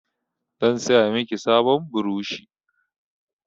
Zan saya miki sabon burushi.